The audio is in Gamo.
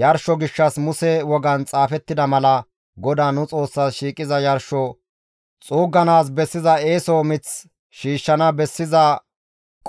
«Yarsho gishshas Muse wogan xaafettida mala GODAA nu Xoossaas shiiqiza yarsho xuugganaas bessiza eeso mith shiishshana bessiza